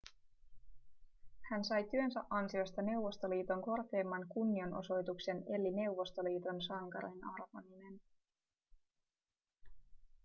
hän sai työnsä ansiosta neuvostoliiton korkeimman kunnianosoituksen eli neuvostoliiton sankarin arvonimen